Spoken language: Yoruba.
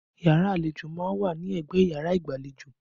Yàrá àlejò má ń wà ní ẹgbẹ́ yàrá igbalejo